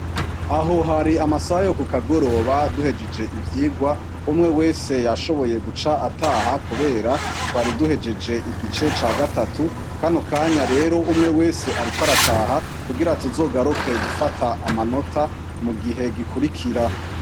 Aho hari amasaha yo ku kagoroba duhejeje ivyigwa, umwe wese yashoboye guca ataha kubera twari duhejeje igice ca gatatu, kano kanya rero, umwe wese ariko arataha kugira tuzogaruke gufata amanota mu gihe gikurikira.